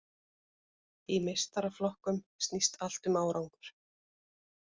Í meistaraflokkum snýst allt um árangur.